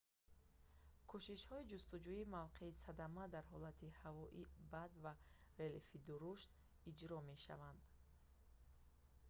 кӯшишҳои ҷустуҷӯи мавқеи садама дар ҳолати ҳавои бад ва релефи дурушт иҷро мешаванд